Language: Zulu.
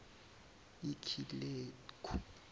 ikileku